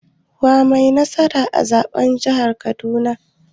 Wa yai nasara a zaɓen jihar Kaduna?